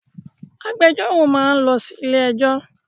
Agbẹjọ́rò máa ń lọ sí ilé ẹ́jọ́.